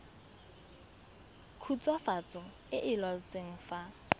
khutswafatso e e laotsweng fa